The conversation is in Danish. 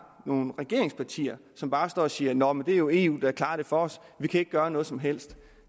nogle regeringspartier som bare står og siger at nå men det er jo eu der klarer det for os og vi kan ikke gøre noget som helst